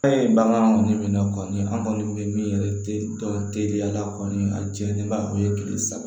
Fɛn ye bagan kɔni min na kɔni an kɔni bɛ min yɛrɛ tɛ dɔn teliyala kɔni a jɛlen ba o ye tile saba